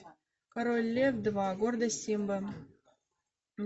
король лев два гордость симбы